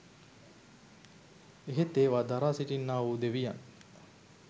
එහෙත් ඒවා දරා සිටින්නාවූ දෙවියන්